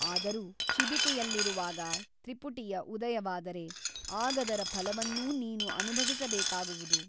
ಆದರೂ ಶಿಬಿಕೆಯಲ್ಲಿರುವಾಗ ತ್ರಿಪುಟಿಯ ಉದಯವಾದರೆ ಆಗದರ ಫಲವನ್ನೂ ನೀನು ಅನುಭವಿಸಬೇಕಾಗುವುದು.